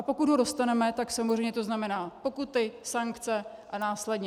A pokud ho dostaneme, tak samozřejmě to znamená pokuty, sankce a následně.